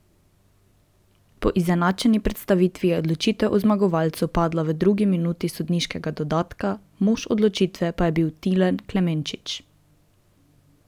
Po izenačeni predstavi je odločitev o zmagovalcu padla v drugi minuti sodniškega dodatka, mož odločitve pa je bil Tilen Klemenčič.